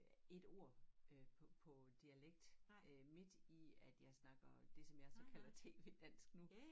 Ja ét ord øh på på dialekt øh midt i at jeg snakker det jeg så kalder TV dansk nu